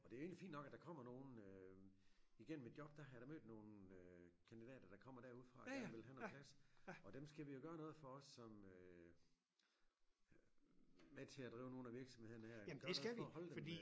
Og det jo egentlig fint nok at der kommer nogen øh igennem et job der har jeg da mødt nogle øh kandidater der kommer derude fra og gerne ville have noget plads og dem skal vi da gøre noget for også som øh med til at drive nogle af virksomhederne her gøre noget for at holde dem